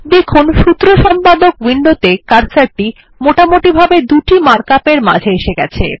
দেখুন সূত্র সম্পাদক উইন্ডোত়ে কার্সর টি মোটামুটিভাবে দুটি ম্যাট্রিক্স মার্ক আপ এর মাঝে এসে গেছে